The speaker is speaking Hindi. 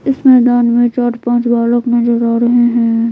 इस मैदान में चार पांच बालक नजर आ रहे हैं।